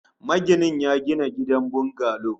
Maginin ya gina gidan bungalo